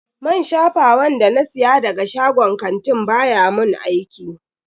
Man shafawan da na siya daga shagon kantin baya mun aiki.